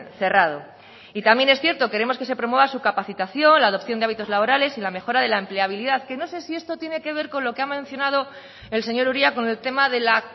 cerrado y también es cierto queremos que se promueva su capacitación la adopción de hábitos laborales y la mejora de la empleabilidad que no sé si esto tiene que ver con lo que ha mencionado el señor uria con el tema de la